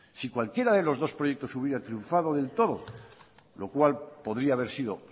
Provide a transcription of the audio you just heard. si cualquiera de los dos proyectos hubiera triunfado del todo lo cual podría haber sido